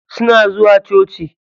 Suna zuwa coci.